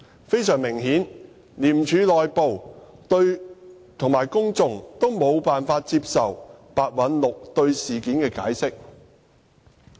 非常明顯，廉署內部及公眾都無法接受白韞六對事件的解釋。